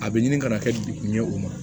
A bɛ ɲini kana kɛ degun ye o ma